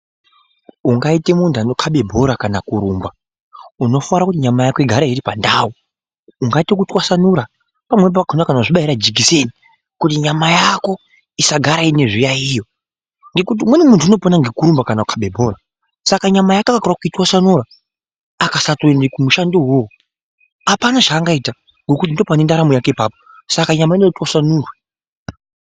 Ungaite muntu anokhabe bhora kana kurumba unofara kuti nyama yako igare iri pandau ungaite kutwasanura pamweni pacho kana kuzvibaire jekiseni kuti nyama yako isagara ine zviyaiyo ngekuti umweni muntu unopona ngekurumba kana kukhabe bhora Saka nyama yake akakorera kuitwasanura akasatoenda kumushandowo iwowo apana zvangaita ngokuti ndopane ndaramo yake apapo Saka nyama inoda kuti itwasanurwe.